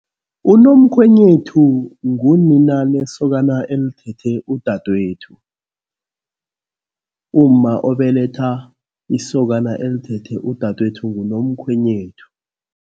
Unomkhwenyethu ngunina lesokana elithethe udadwethu. Umma obeletha isokana elithethe udadwethu ngunomkhwenyethu.